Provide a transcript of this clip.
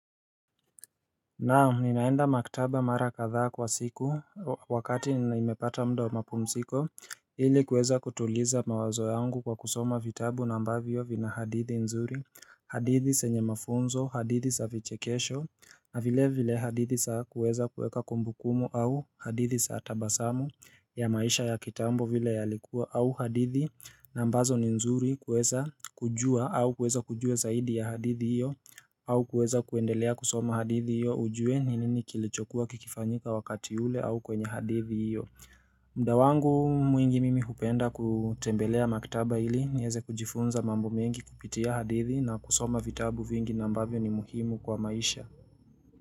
Naam, ninaenda makitaba mara katha kwa siku wakati ni naimepata mda wa mapumsiko Hili kuweza kutuliza mawazo yangu kwa kusoma vitabu na ambavyo vina hadithi nzuri hadithi senye mafunzo, hadithi sa vichekesho na vile vile hadithi sa kuweza kuweka kumbukumu au hadithi saa tabasamu ya maisha ya kitambo vile yalikuwa au hadithi na ambazo ni nzuri kuweza kujua au kuweza kujue zaidi ya hadithi iyo au kuweza kuendelea kusoma hadithi iyo ujue ni nini kilichokuwa kikifanyika wakati ule au kwenye hadithi iyo. Mda wangu mwingi mimi hupenda kutembelea makitaba ili, nieze kujifunza mambo mengi kupitia hadithi na kusoma vitabu vingi nambavyo ni muhimu kwa maisha.